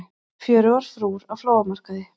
Fjörugar frúr á flóamarkaði